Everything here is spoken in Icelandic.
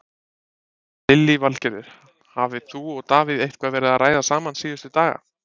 Lillý Valgerður: Hafið þú og Davíð eitthvað verið að ræða saman síðustu daga?